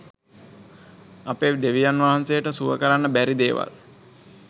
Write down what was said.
අපේ දෙවියන් වහන්සේට සුව කරන්න බැරි දේවල්